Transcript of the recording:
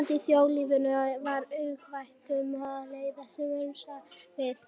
Ástandið í þjóðlífinu var uggvænlegt um það leyti sem ég sagði skilið við